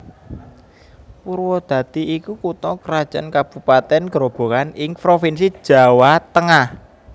Purwadadi iku kutha krajan kabupatèn Grobogan ing provinsi Jawa Tengah